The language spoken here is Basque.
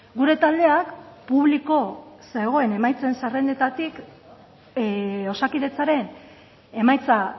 gure taldeak publiko zegoen emaitzen zerrendetatik osakidetzaren emaitza